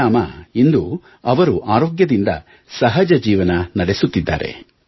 ಪರಿಣಾಮ ಇಂದು ಅವರು ಆರೋಗ್ಯದಿಂದ ಸಹಜ ಜೀವನ ನಡೆಸುತ್ತಿದ್ದಾರೆ